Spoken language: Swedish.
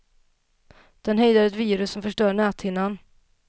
Den hejdar ett virus som förstör näthinnan.